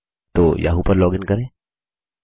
तो याहू पर लॉगिन करें